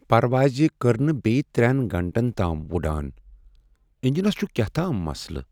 پرواز کر نہٕ بیٚیہ ترٛیٚن گھنٹن تام اڑان۔ انجنس چُھ كیاہتام مسلہٕ۔